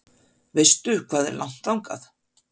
Veistu hvað er langt þangað?